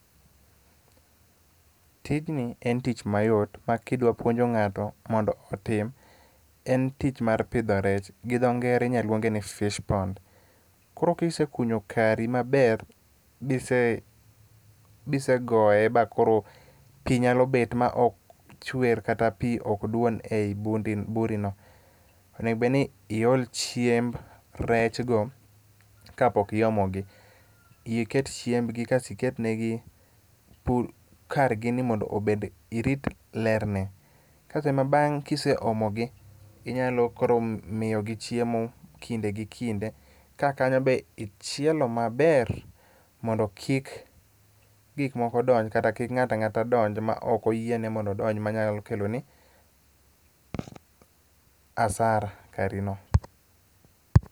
Tijni en tich mayot makidwa puonjo ng'ato mondo otim, en tich mar pidho rech. Gi dho ngere inya lwonge ni fish pond. Koro kisekunyo kari maber bise goyo bakoro pi nyalo bet ma ok chwer kata pi ok dwon ei burino, onego bedni iol chiemb rech go kapok iomo gi. Iket chiembgi kasto iketnegi kargini mondo [?[ irit lerne. Kasto ema bang' kise omo gi, inyalo koro miyogi chiemo kinde gi kinde kaka kanyo be ichielo maber mondo kik gik moko donj kata kik ng'ato ang'ata donj ma ok oyiene mondo odonj manyalo keloni hasara karino.